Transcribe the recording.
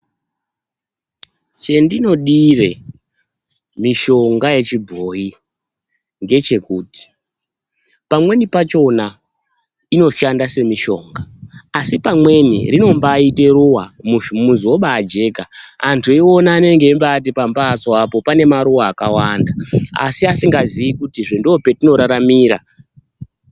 Chendinodire mishonga yechibhoyi ngechekuti pamweni pakhona inoshanda semishonga asi pamweni rinombaite ruwa muzi wobajeka antu eiona anenge eimbati pambatso apo panemaruwa akawanda asi asingaziyi kutizvo ndopatinoraramira.